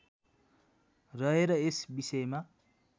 रहेर यस विषयमा